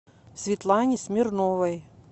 светлане смирновой